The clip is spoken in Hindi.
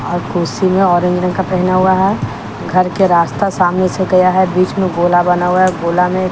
और कुर्सी ने ऑरेंज रंग का पहना हुआ हैं घर के रास्ता सामने से गया हैं बीच में गोला बना हुआ हैं गोला में --